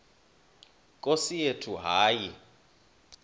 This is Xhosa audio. nkosi yethu hayi